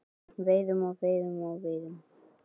Veiðum og veiðum og veiðum.